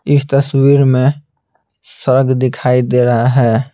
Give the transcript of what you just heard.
इस तस्वीर में स्वर्ग दिखाई दे रहा है।